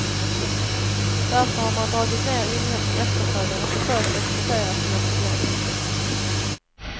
Därför har man dragit ner inhemsk efterfrågan och försökt exportera sina problem.